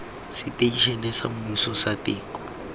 seteišene sa semmuso sa teko